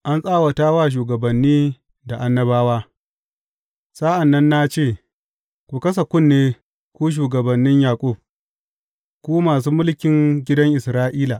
An Tsawata wa Shugabanni da Annabawa Sa’an nan na ce, Ku kasa kunne, ku shugabannin Yaƙub, ku masu mulkin gidan Isra’ila.